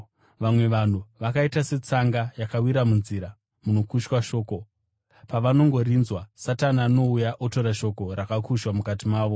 Vamwe vanhu vakaita setsanga yakawira munzira, munokushwa shoko. Pavanongorinzwa, Satani anouya otora shoko rakushwa mukati mavo.